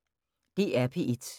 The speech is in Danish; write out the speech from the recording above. DR P1